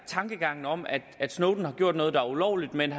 tankegangen om at snowden har gjort noget der er ulovligt men